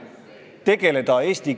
Kui nad tahavad, siis nad suudavad.